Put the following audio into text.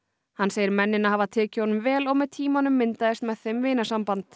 hann segir mennina hafa tekið honum vel og með tímanum myndaðist með þeim